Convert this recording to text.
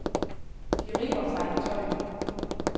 De river sig i tøjet.